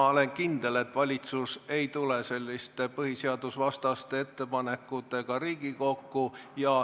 Ma olen kindel, et valitsus ei tule selliste põhiseadusvastaste ettepanekutega Riigikokku.